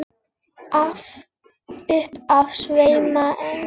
Upp af sveima englar.